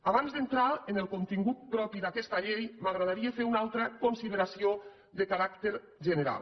abans d’entrar en el contingut propi d’aquesta llei m’agradaria fer una altra consideració de caràcter general